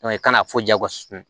i kana fo jagosi